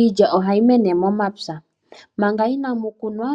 Iilya ohayi mene momapya, manga inamu kunwa